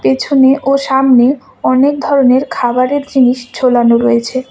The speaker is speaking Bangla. পিছনে ও সামনে অনেক ধরনের খাবারের জিনিস ঝোলানো রয়েছে।